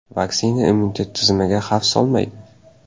Vaksina immunitet tizimiga xavf solmaydi.